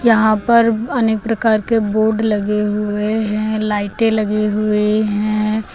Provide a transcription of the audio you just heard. यहां पर अनेक प्रकार के बोर्ड लगे हुए हैं लाइटें लगी हुई हैं।